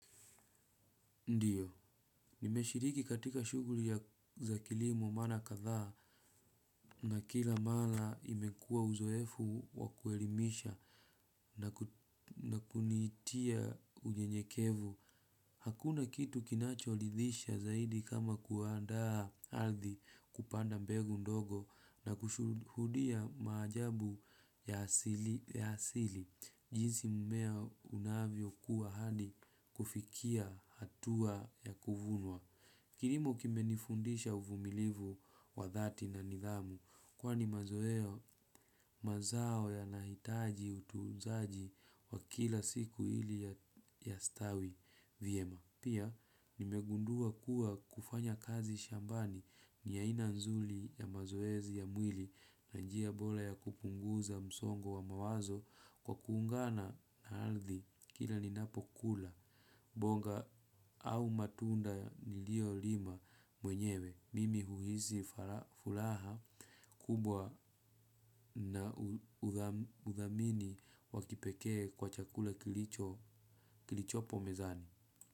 Ndiyo, nimeshiriki katika shughuli ya, za kilimo mara kadhaa na kila mara imekuwa uzoefu wa kuelimisha na kunitia unyenyekevu. Hakuna kitu kinachoridhisha zaidi kama kuandaa ardhi kupanda mbegu ndogo na kushuhudia maajabu ya asili jinsi mmea unavyokua hadi kufikia hatua ya kuvunwa. Kilimo kimenifundisha uvumilivu wa dhati na nidhamu kwani mazoeo mazao yanahitaji utunzaji wa kila siku ili yastawi vyema. Pia, nimegundua kuwa kufanya kazi shambani ni aina nzuri ya mazoezi ya mwili na njia bora ya kupunguza msongo wa mawazo kwa kuungana na ardhi kila ninapokula, bonga au matunda niliolima mwenyewe. Mimi huhisi furaha kubwa na udhamini wa kipekee kwa chakula kilichopo mezani.